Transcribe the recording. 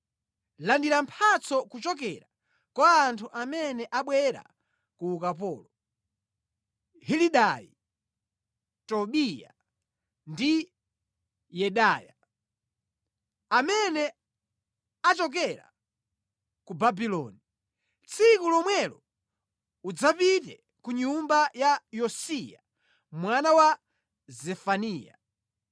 “Landira mphatso kuchokera kwa anthu amene abwera ku ukapolo, Helidai, Tobiya ndi Yedaya, amene achokera ku Babuloni. Tsiku lomwelo pita ku nyumba ya Yosiya mwana wa Zefaniya.